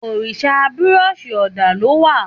Òrìsírìsí búrọ̀sí ọdà lọ wà.